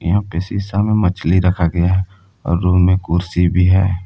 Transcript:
यहां पे शीशा में मछली रखा गया है और रूम में कुर्सी भी है।